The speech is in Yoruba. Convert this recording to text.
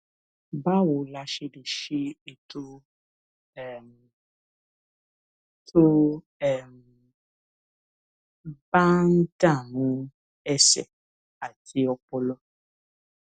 báwo la ṣe lè ṣe é tó um tó um bá ń dààmú ẹsè àti ọpọlọ